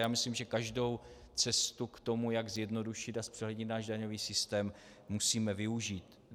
Já myslím, že každou cestu k tomu, jak zjednodušit a zpřehlednit náš daňový systém, musíme využít.